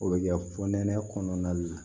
O bɛ kɛ fo nɛnɛ kɔnɔna la